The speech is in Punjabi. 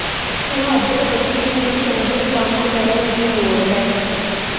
ਤੁਹਾਡੇ ਬੱਚੇ ਨੂੰ ਚੰਗੇ ਕੰਮ ਕਰਨ ਦੀ ਲੋੜ ਹੈ